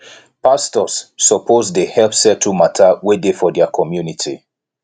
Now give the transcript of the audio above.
pastors suppose dey help settle mata wey dey for their community